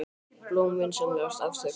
Blóm vinsamlegast afþökkuð.